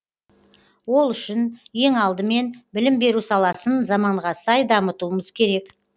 ол үшін ең алдымен білім беру саласын заманға сай дамытуымыз керек